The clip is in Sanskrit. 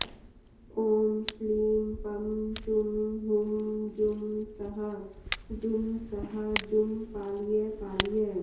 ॐ श्लीं पं शुं हुं जुं सः जुं सः जुं पालय पालय